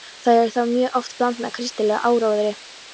Þær eru þá mjög oft blandnar kristilegum áróðri.